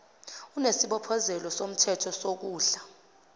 onesibophezelo somthetho sokondla